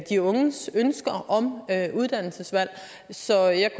de unges ønsker om uddannelsesvalg så jeg